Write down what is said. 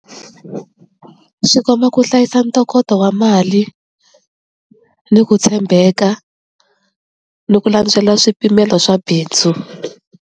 Swi komba ku hlayisa ntokoto wa mali ni ku tshembeka ni ku landzela swipimelo swa bindzu.